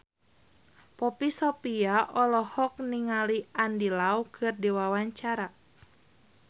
Poppy Sovia olohok ningali Andy Lau keur diwawancara